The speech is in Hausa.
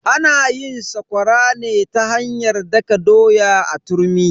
Ana yin sakwara ne ta hanyar daka doya a turmi.